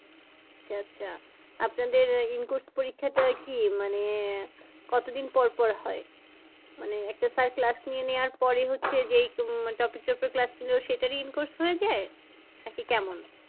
আচ্ছা আচ্ছা আপনাদের in course পরিক্ষাটা কি মানে কত দিন পর হয়? মানে একটা sir class নিয়ে নেওয়ার পরেই হচ্ছে যে topic টার উপরে class নিলো সেটারই in course হয়ে যায়? নাকি কেমন?